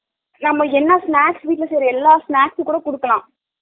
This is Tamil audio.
நாம்ம என்ன snacks வீட்ல சைரோ எல்லா snacks கூட குடுக்கலாம்